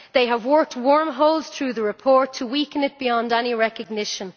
They have worked wormholes through the report to weaken it beyond any recognition.